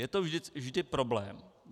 Je to vždy problém.